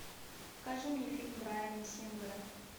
покажи мне фильм брайана сингера